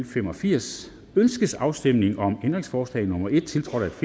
fem og firs ønskes afstemning om ændringsforslag nummer en tiltrådt